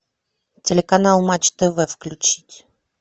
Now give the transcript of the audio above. телеканал матч тв включить